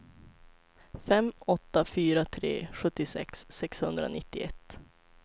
fem åtta fyra tre sjuttiosex sexhundranittioett